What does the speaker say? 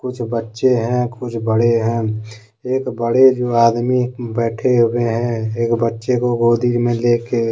कुछ बच्चे हैं कुछ बड़े हैं एक बड़े जो आदमी बैठे हुए हैं एक बच्चे को गोदी में लेके।